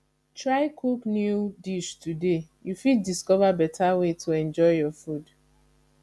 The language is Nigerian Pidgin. try cook new dish today you fit discover better way to enjoy your food